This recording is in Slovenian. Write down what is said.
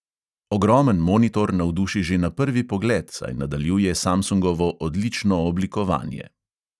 Ogromen monitor navduši že na prvi pogled, saj nadaljuje samsungovo odlično oblikovanje.